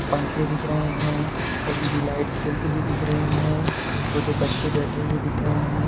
पंखे दिख रहे हैं | एल.ई.डी लाइट्स जलती हुई दिख रही है | छोटे बच्चे बैठे हुए दिख रहे हैं ।